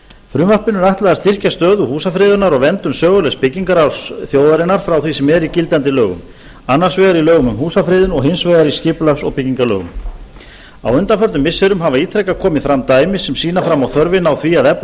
frumvarpinu er ætlað að styrkja stöðu húsafriðunar og verndun sögulegs byggingararfs þjóðarinnar frá því sem er í gildandi lögum annars vegar í lögum um húsafriðun og hins vegar í skipulags og byggingarlögum á undanförnum missirum hafa ítrekað komið fram dæmi sem sýna fram á þörfina á því að efla